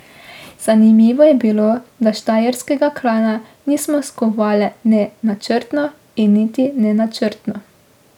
Zanimivo je bilo, da štajerskega klana nismo skovale ne načrtno in niti nenačrtno.